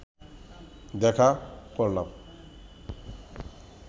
দেখা করলাম